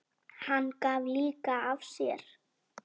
Hann gaf líka af sér.